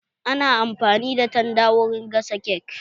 Ana amfani da tanda wurin gasa kek